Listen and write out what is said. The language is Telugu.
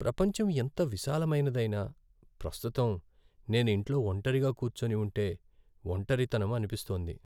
ప్రపంచం ఎంత విశాలమైనదైనా, ప్రస్తుతం నేను ఇంట్లో ఒంటరిగా కూర్చోని ఉంటే ఒంటరితనం అనిపిస్తోంది.